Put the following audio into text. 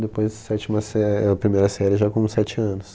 Depois, a sétima sé, a primeira série já com sete anos.